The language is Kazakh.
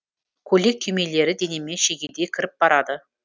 көйлек түймелері денеме шегедей кіріп барады